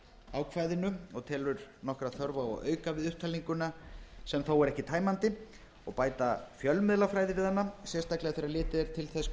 ákvæðinu og telur nokkra þörf á að auka við upptalninguna sem þó er ekki tæmandi og bæta fjölmiðlafræði við hana sérstaklega þegar litið er til þess hve fjölmiðlar